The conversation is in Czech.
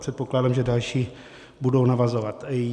Předpokládám, že další budou navazovat.